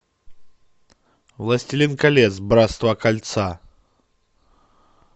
властелин колец братство кольца